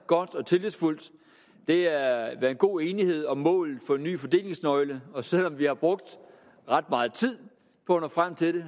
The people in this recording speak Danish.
godt og tillidsfuldt der har været god enighed om målet for en ny fordelingsnøgle og selv om vi har brugt ret meget tid på at nå frem til